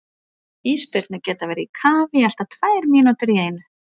Ísbirnir geta verið í kafi í allt að tvær mínútur í einu.